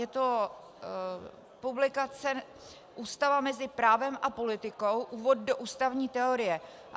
Je to publikace Ústava mezi právem a politikou, úvod do ústavní teorie.